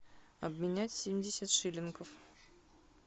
обменять семьдесят шиллингов